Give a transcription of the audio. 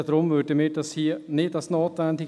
Deshalb erachten wir dies nicht für notwendig.